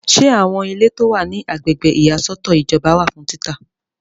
Ṣe àwọn ilé tí o wa ní Agbègbè ìyàsọ́tọ̀ ìjọba wà fún títà?